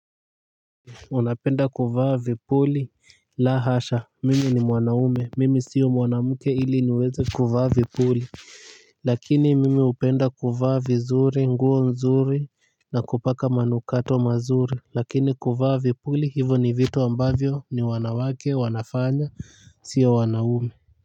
Unapenda kuvaa vipuli? La hasha, mimi ni mwanaume, mimi si mwanamke ili niweze kuvaa vipuli. Lakini mimi hupenda kuvaa vizuri, nguo nzuri na kupaka manukato mazuri, lakini kuvaa vipuli hivyo ni vitu ambavyo wanawake hufanya, si wanaume.